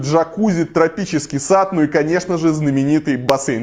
джакузи тропический сад ну и конечно же знаменитый бассейн